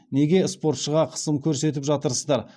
неге спортшыға қысым көрсетіп жатырсыздар